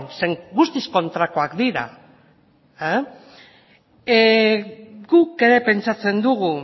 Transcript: guztiz kontrakoak dira guk ere pentsatzen dugu